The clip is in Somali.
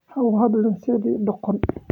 Ha u hadlin sidii doqon.